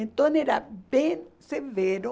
Então, era bem severo.